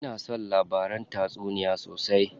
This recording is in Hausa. Ina son labaran tatsuniya sosai.